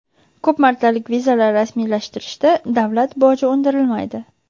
ko‘p martalik vizalar rasmiylashtirishda davlat boji undirilmaydi.